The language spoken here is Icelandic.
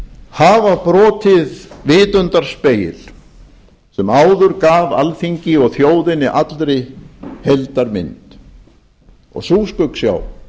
hafa brotið vitundarspegil sem áður gaf alþingi og þjóðinni allri heildarmynd og sú skuggsjá